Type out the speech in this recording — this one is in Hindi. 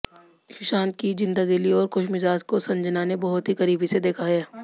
सुशान्त की जिंदादिली और खुशमिजाज को संजना ने बहुत ही करीबी से देखा हैं